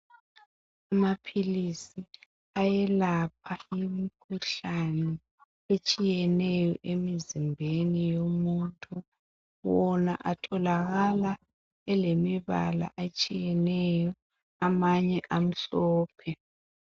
Amaphilisi ayelapha imikhuhlane etshiyeneyo emzimbeni womuntu. Wona atholakala elemibala etshiyeneyo, amanye amhlophe.